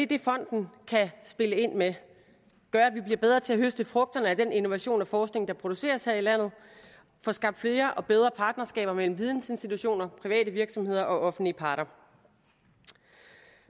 det fonden kan spille ind med gøre at vi bliver bedre til at høste frugterne af den innovation og forskning der produceres her i landet få skabt flere og bedre partnerskaber mellem vidensinstitutioner private virksomheder og offentlige parter